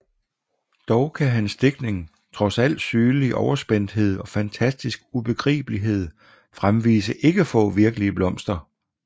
Dog kan hans digtning trods al sygelig overspændthed og fantastisk ubegribelighed fremvise ikke få virkelige blomster